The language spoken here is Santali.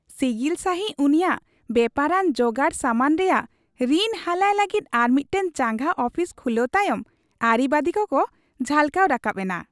ᱥᱤᱜᱤᱞ ᱥᱟᱹᱦᱤᱡ ᱩᱱᱤᱭᱟᱜ ᱵᱮᱯᱟᱨᱟᱱ ᱡᱚᱜᱟᱲᱥᱟᱢᱟᱱ ᱨᱮᱭᱟᱜ ᱨᱤᱱ ᱦᱟᱞᱟᱭ ᱞᱟᱹᱜᱤᱫ ᱟᱨ ᱟᱨᱢᱤᱫᱴᱟᱝ ᱪᱟᱸᱜᱟ ᱟᱯᱷᱤᱥ ᱠᱷᱩᱞᱟᱹᱣ ᱛᱟᱭᱚᱢ ᱟᱹᱨᱤᱵᱟᱹᱫᱤ ᱠᱚᱠᱚ ᱡᱷᱟᱞᱠᱟᱣ ᱨᱟᱠᱟᱵ ᱮᱱᱟ ᱾